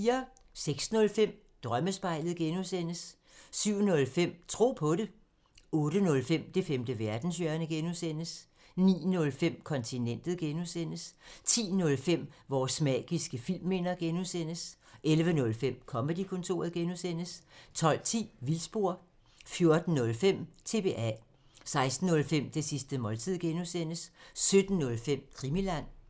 06:05: Drømmespejlet (G) 07:05: Tro på det 08:05: Det femte verdenshjørne (G) 09:05: Kontinentet (G) 10:05: Vores magiske filmminder (G) 11:05: Comedy-kontoret (G) 12:10: Vildspor 14:05: TBA 16:05: Det sidste måltid (G) 17:05: Krimiland